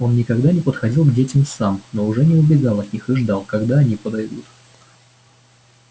он никогда не подходил к детям сам но уже не убегал от них и ждал когда они подойдут